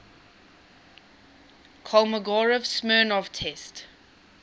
kolmogorov smirnov test